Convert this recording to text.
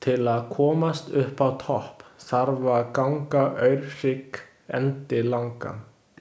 Til að komast uppá topp þarf að ganga Aurhrygg endilangan.